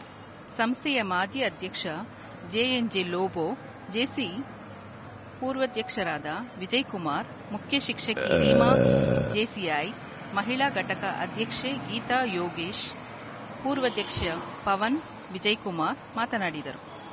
ಸಂಸ್ಥೆಯ ಮಾಜಿ ಅಧ್ಯಕ್ಷ ಜೆಎನ್‌ಜೆ ಲೋಬೋ ಜೇಸಿ ಪೂರ್ವಧ್ಯಕ್ಷರಾದ ವಿಜಯಕುಮಾರ್‌ ಮುಖ್ಯಶಿಕ್ಷಕಿ ರೀಮಾ ಜೇಸಿಐ ಮಹಿಳಾ ಘಟಕ ಅಧ್ಯಕ್ಷೆ ಗೀತಾ ಯೋಗೀಶ್‌ ಪೂರ್ವಧ್ಯಕ್ಷೆ ಪವನ ವಿಜಯಕುಮಾರ್‌ ಮಾತನಾಡಿದರು